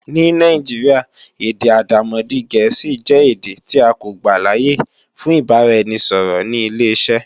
Ní Nàìjíríà, èdè àdàmọ̀dì Gẹ̀ẹ́sì jẹ́ èdè tí a kò gbàláyè fún ìbáraẹnisọ̀rọ̀ ní ileṣẹ́.